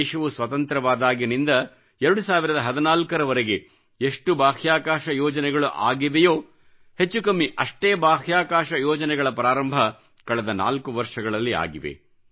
ದೇಶವು ಸ್ವತಂತ್ರವಾದಾಗಿನಿಂದ 2014ರವರೆಗೆ ಎಷ್ಟು ಬಾಹ್ಯಾಕಾಶ ಯೋಜನೆಗಳು ಆಗಿವೆಯೋ ಹೆಚ್ಚು ಕಮ್ಮಿ ಅಷ್ಟೇ ಬಾಹ್ಯಾಕಾಶ ಯೋಜನೆಗಳ ಪ್ರಾರಂಭ ಕಳೆದ ನಾಲ್ಕು ವರ್ಷಗಳಲ್ಲಿ ಆಗಿವೆ